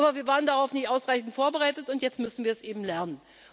Ziel. Aber wir waren darauf nicht ausreichend vorbereitet, und jetzt müssen wir es eben